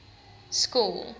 school